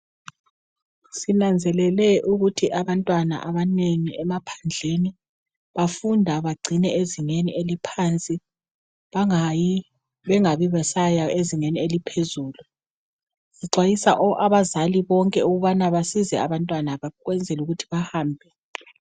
Sinanzelele ukuthi abantwana abanengi emaphandleni bafunda bacine ezingeni eliphansi bangayi ezingeni eliphezulu. Sixwayisa abazali bonke ukubana basize abantwana ukwenzela ukubana bahambe.